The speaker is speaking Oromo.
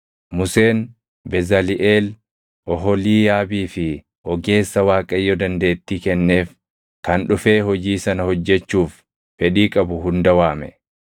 Museen Bezaliʼeel, Oholiiyaabii fi ogeessa Waaqayyo dandeettii kenneef kan dhufee hojii sana hojjechuuf fedhii qabu hunda waame.